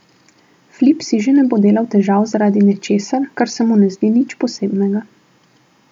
Flip si že ne bo delal težav zaradi nečesa, kar se mu ne zdi nič posebnega.